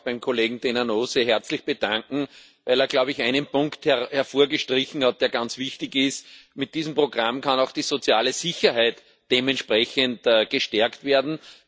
Ich möchte mich auch beim Kollegen Denanot sehr herzlich bedanken, weil er, glaube ich, einen Punkt hervorgestrichen hat, der ganz wichtig ist Mit diesem Programm kann auch die soziale Sicherheit dementsprechend gestärkt werden.